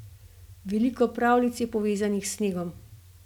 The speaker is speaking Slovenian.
Veliko pravljic je povezanih s snegom.